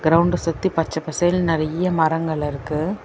கிரவுண்ட சுத்தி பச்ச பசேல்னு நெறைய மரங்கள் இருக்கு.